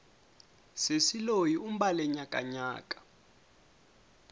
sesi loyi u mbale nyakanyaka